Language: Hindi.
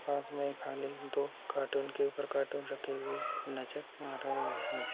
पास में एक खाली दो कार्टून के ऊपर कार्टून रखे हुए नजर आ रहे हैं।